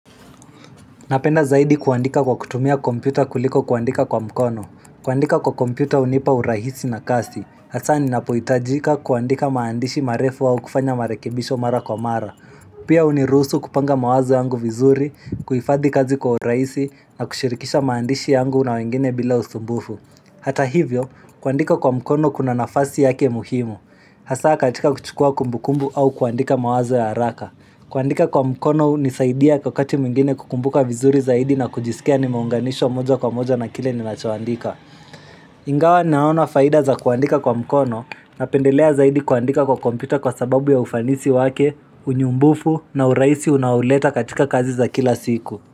Napenda zaidi kuandika kwa kutumia kompyuta kuliko kuandika kwa mkono. Kuandika kwa kompyuta unipa urahisi na kasi. Hasaa ninapuhitajika kuandika maandishi marefu au kufanya marekebisho mara kwa mara. Pia hunirusu kupanga mawazo yangu vizuri, kuhifadhi kazi kwa urahisi na kushirikisha maandishi yangu na wengine bila usumbufu. Hata hivyo, kuandika kwa mkono kuna nafasi yake muhimu. Hasaa katika kuchukua kumbukumbu au kuandika mawazo ya haraka. Kuandika kwa mkono hunisaidia wakati mwingine kukumbuka vizuri zaidi na kujisikia nimeunganishwa moja kwa moja na kile ninachoandika. Ingawa ninaona faida za kuandika kwa mkono, napendelea zaidi kuandika kwa kompyuta kwa sababu ya ufanisi wake, unyumbufu na urahisi unaouleta katika kazi za kila siku.